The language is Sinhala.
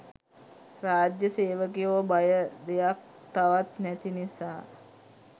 රාජ්‍ය සේවකයො බය දෙයක් තවත් නැති නිසා.